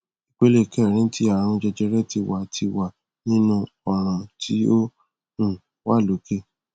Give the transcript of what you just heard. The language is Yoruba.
ipele kerin ti arun jejere ti wa ti wa ninu ọran ti o um wa loke